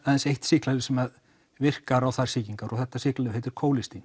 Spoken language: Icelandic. aðeins eitt sýklalyf sem virkar á þær sýkingar og þetta sýklalyf heitir